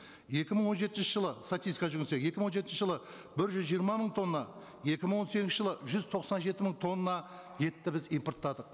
екі мың он жетінші жылы статистикаға жүгінсек екі мың он жетінші жылы бір жүз жиырма мың тонна екі мың он сегізінші жылы жүз тоқсан жеті мың тонна етті біз импорттадық